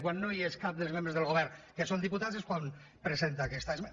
quan no hi és cap dels membres del govern que són diputats és quan presenta aquesta esmena